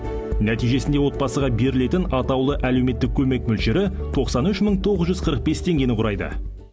нәтижесінде отбасыға берілетін атаулы әлеуметтік көмек мөлшері тоқсан үш мың тоғыз жүз қырық бес теңгені құрайды